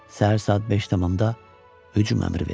Səhər saat 5 tamında hücum əmri verildi.